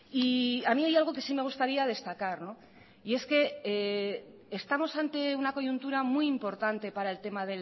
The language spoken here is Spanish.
y a mí hay algo que sí me gustaría destacar y es que estamos ante una coyuntura muy importante para el tema